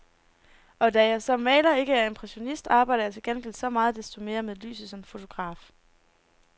Og da jeg som maler ikke er impressionist, arbejder jeg til gengæld så meget desto mere med lyset som fotograf.